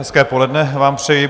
Hezké poledne vám přeji.